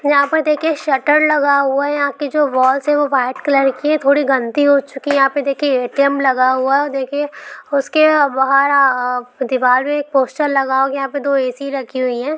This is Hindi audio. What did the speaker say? यहा पर देखिए शटर लगा हुवा है यहा के जो वॉलस ही वाईट कलर के थोड़ी गंदी हो चुकी है यहा पे देखीये ए_टी_एम लगा हुवा है और देखिए उसके बहार आ दीवार पे पोस्टर लगा हुवा है यहा पे दो ए_सी रखी हुवी है।